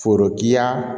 Forokiya